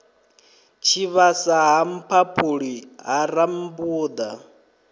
tshivhasa ha mphaphuli ha rambuḓa